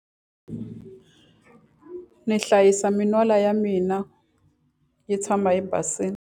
Ndzi hlayisa min'wala ya mina yi tshama yi basile.